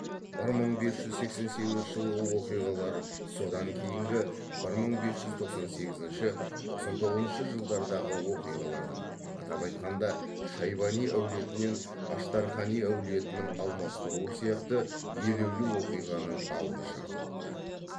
бір мың бес жүз сексен сегізінші жылғы оқиғалар содан кейінгі бір мың бес жүз тоқсан сегізінші тоқсан тоғызыншы жылдардағы оқиғалардың атап айтқанда шайбани әулетін аштархани әулетінің алмастыруы сияқты елеулі оқиғаның алғы шарты болды